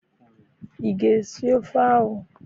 I ga esi ofe ahụ?